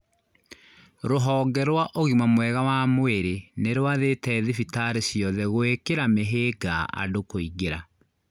Rũhonge rwa ũgima mwega wa mwĩrĩ nĩ rwathĩte thibitarĩ ciothe gũĩkĩra mĩhĩnga andũ kũingĩra